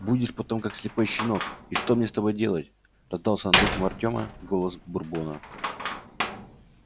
будешь потом как слепой щенок и что мне с тобой делать раздался над ухом артема голос бурбона